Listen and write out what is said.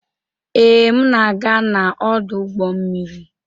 Ee, m na-aga n'ọdụ ụgbọ mmiri.